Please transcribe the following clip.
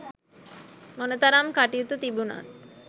මොනතරම් කටයුතු තිබුණත්